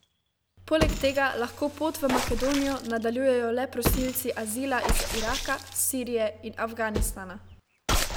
Poleg tega lahko pot v Makedonijo nadaljujejo le prosilci azila iz Iraka, Sirije in Afganistana.